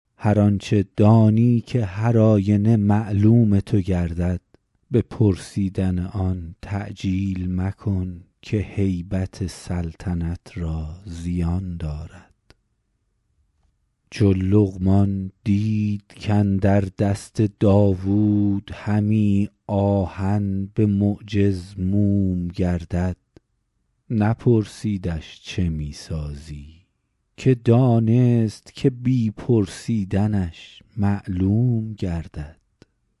هر آنچه دانی که هر آینه معلوم تو گردد به پرسیدن آن تعجیل مکن که هیبت سلطنت را زیان دارد چو لقمان دید کاندر دست داوود همی آهن به معجز موم گردد نپرسیدش چه می سازی که دانست که بی پرسیدنش معلوم گردد